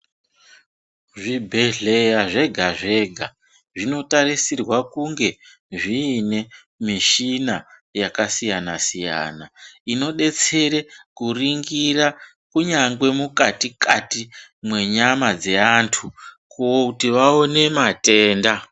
Zvibhehleya zvega-zvega zvinotarisirwa kune zvine mishina yakasiyana-siyana inodetsere kuringira kunyange mukati-kati mwenyama dzeantu kuti vaone matenda.